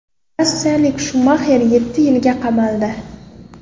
Rossiyalik Shumaxer yetti yilga qamaldi.